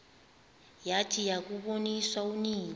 yathi yakuboniswa unina